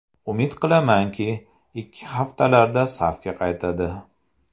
Umid qilamanki, ikki haftalarda safga qaytadi.